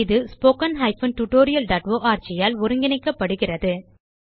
இது httpspoken tutorialorg ஆல் ஒருங்கிணைக்கப்படுகிறது